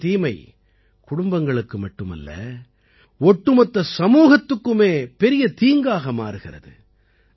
போதையின் தீமை குடும்பங்களுக்கு மட்டுமல்ல ஒட்டுமொத்த சமூகத்துக்குமே பெரிய தீங்காக மாறுகிறது